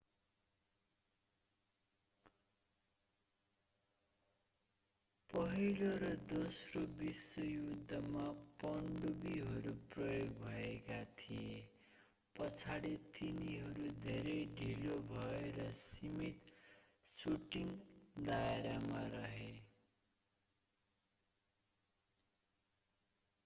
पहिलो र दोस्रो विश्व युद्धमा पनडुब्बीहरू प्रयोग भएका थिए पछाडि तिनीहरू धेरै ढिलो भए र सीमित शूटिंग दायरामा रहे